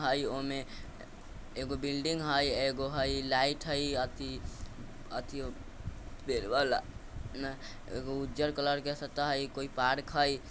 हई ओमे एगो बिल्डिंग हई एगो हई लाइट हई अथी -अथी पेड़ वा एगो उजर कलर के सतह हई कोई पार्क हई ।